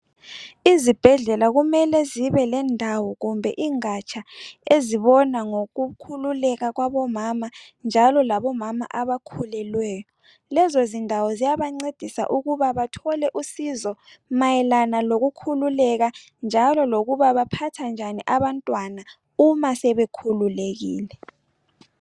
Ezibhedlela kumele kube lendawo kumbe ingatsha ezibona ngokhululeka kwabomama njalo labomama abakhulelweyo. Lezondawo ziyabancedisa ukuba bathole usizo mayelana lokukhululeka, njalo lokuba baphatha njani abantwana uma sebekhululekile